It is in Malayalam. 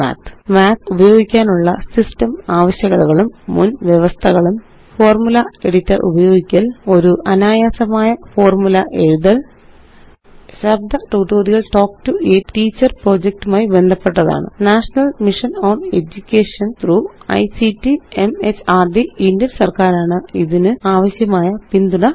Mathഉപയോഗിക്കാനുള്ള സിസ്റ്റം ആവശ്യകതകളും മുന്വ്യവസ്ഥകളും ഫോർമുല എഡിറ്റർ ഉപയോഗിക്കല് ഒരു അനായാസമായ ഫോര്മുല എഴുതല് ശബ്ദ tutorial talk to a teacher project മായി ബന്ധപ്പെട്ടതാണ് national mission on education through ictമെഹർദ് ഇന്ത്യന് സര്ക്കാരാണ് ഇതിനാവശ്യമായ പിന്തുണ നല്കുന്നത്